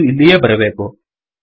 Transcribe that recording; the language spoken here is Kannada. ಇದು ಇಲ್ಲಿಯೇ ಬರಬೇಕು